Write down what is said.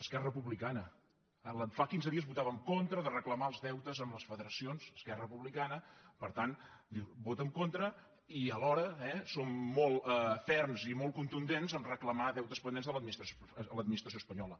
esquerra republicana fa quinze dies votava en contra de recla·mar els deutes a les federacions esquerra republica·na per tant diu hi voto en contra i alhora eh som molt ferms i molt contundents a reclamar deutes pen·dents a l’administració espanyola